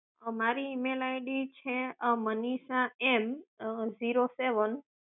મારી email ID છે અં મનીષા M zero seven